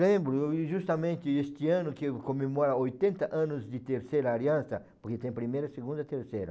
Lembro, eai justamente este ano que eu comemora oitenta anos de Terceira Aliança, porque tem primeira, segunda, terceira.